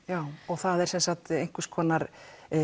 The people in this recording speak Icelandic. það er einhvers konar